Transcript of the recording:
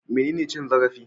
Menene cin zarafi?